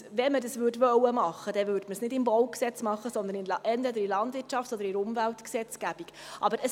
Wollte man dies umsetzen, würde man dies nicht im BauG, sondern entweder in der Landwirtschafts- oder in der Umweltgesetzgebung umsetzen.